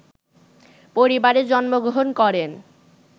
পরিবারে জন্মগ্রহণ করেন